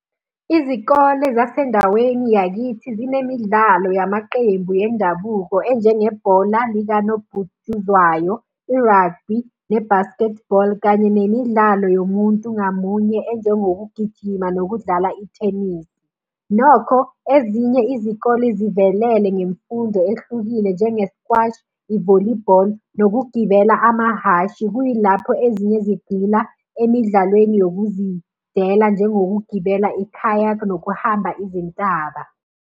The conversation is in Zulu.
Izikole zasendaweni yakithi zinemidlalo yamaqembu endabuko enjengebhola likanobhutshuzwayo, i-rugby, ne-basketball, kanye nemidlalo yomuntu ngamunye enjengokugijima nokudlala ithenisi. Nokho, ezinye izikole zivelele ngemfundo ehlukile njengeskwashi, i-volleyball, nokugibela amahhashi. Kuyilapho ezinye sigxila emidlalweni yokuzidela njengokugibela i-kayak nokuhamba izintaba.